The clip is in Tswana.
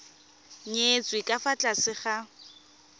nyetswe ka fa tlase ga